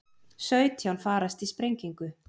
Sautján farast í sprengingu